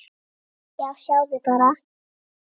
Já, sjáðu bara!